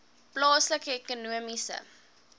plaaslike ekonomiese